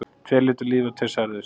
Tveir létu lífið og tveir særðust